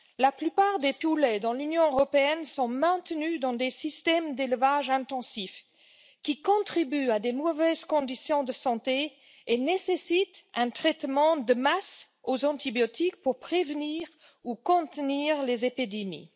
La plupart des poulets dans l'Union européenne sont maintenus dans des systèmes d'élevage intensif qui contribuent à de mauvaises conditions de santé et nécessitent un traitement de masse aux antibiotiques pour prévenir ou contenir les épidémies.